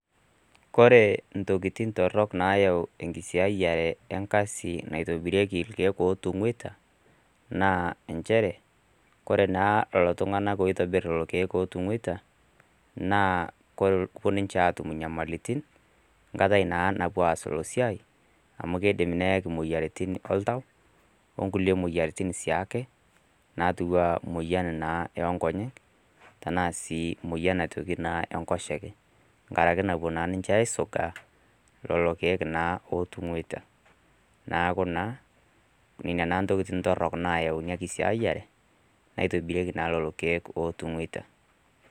Kore intokitin took nayau enkisiayiare enkasii naitobirieki ilkieek ootungueta naa enchere kore naa lelo tunganak oitobirr lelo kieek ootungueta naa kopuo ninche aatum inyamalotin kata naa lopuo aas Ilo siaai amu keidim neyaki moyiaritin oltau, onkulie moyiaritin sii ake naatiu anaa moyian oo nkonyek nasii moyian enkoshoke nkaraki naa napuo ninche aisungaa lelo kieek otongueta niaaku naa nina naa ntokitin torrok nayau ina kisiaayiare naitobirieki naa lelo kieek otongueta.